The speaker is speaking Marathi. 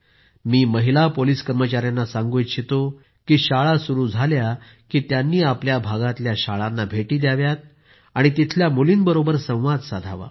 मी महिला पोलिस कर्मचायांना सांगू इच्छितो की शाळा सुरू झाल्या की त्यांनी आपल्या भागातल्या शाळांना भेटी द्याव्यात आणि तिथल्या मुलींबरोबर संवाद साधावा